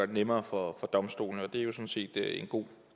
det nemmere for domstolene og det er jo sådan set en god